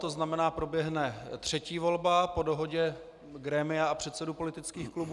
To znamená, proběhne třetí volba po dohodě grémia a předsedů politických klubů.